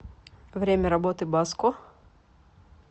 время работы баско